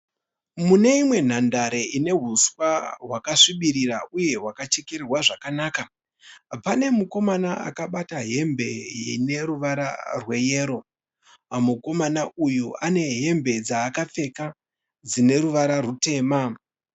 Mune imwe nhandare inehuswa hwakasvibirira uye hwakachekererwa zvakanaka pane mukomana akabata hembe ineruvara rweyero. Mukomana uyu anehembe dzaakapfeka uye dzine ruvara ruchena.